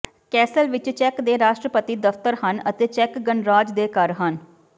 Castell ਵਿਚ ਚੈਕ ਦੇ ਰਾਸ਼ਟਰਪਤੀ ਦਫ਼ਤਰ ਹਨ ਅਤੇ ਚੈੱਕ ਗਣਰਾਜ ਦੇ ਘਰ ਹਨ